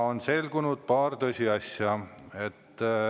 On selgunud paar tõsiasja.